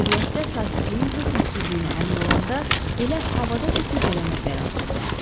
Təbiətdə sakitliyin hökm sürdüyünə əmin olanda elə havadaca gecələmə qərarına gəldi.